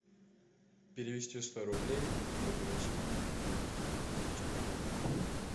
перевести сто рублей ольге васильевне чернобокой